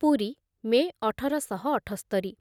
Puri May ଅଠର ଶହ ଅଠସ୍ତରି